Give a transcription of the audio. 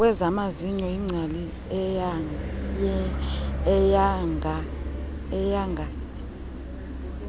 kwezamazinyo yingcali eyanga